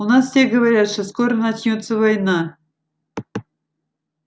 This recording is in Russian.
у нас все говорят что скоро начнётся война